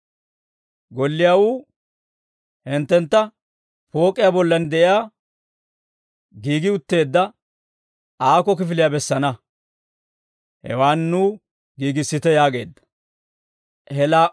Golliyaawuu hinttentta pook'iyaa bollan de'iyaa giigi utteedda aako kifiliyaa bessana; hewaan nuw giigissite» yaageedda. Pook'iyaa Golliyaa